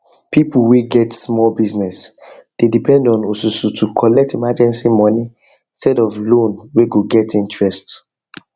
people whey get small business dey depend on osusu to collect emergency money instead of loan whey go get interest